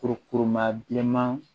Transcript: Kurukuruma bilenman